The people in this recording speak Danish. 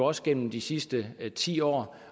os gennem de sidste ti år